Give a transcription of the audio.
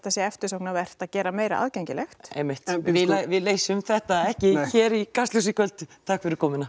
sé eftirsóknarvert að gera meira aðgengilegt við leysum þetta ekki í Kastljósi í kvöld takk fyrir komuna